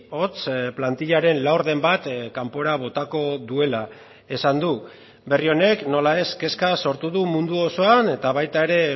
hots plantillaren laurden bat kanpora botako duela esan du berri honek nola ez kezka sortu du mundu osoan eta baita ere